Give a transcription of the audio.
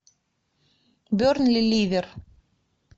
бернли ливер